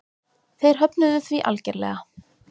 Þeir höfnuðu því algerlega.